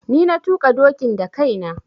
Ni na tuƙa dokin da kai na.